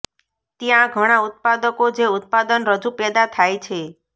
ત્યાં ઘણા ઉત્પાદકો જે ઉત્પાદન રજૂ પેદા થાય છે